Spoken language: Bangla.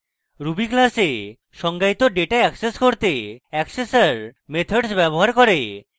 ruby classes সংজ্ঞায়িত ডেটা অ্যাক্সেস করতে accessor methods ব্যবহার করে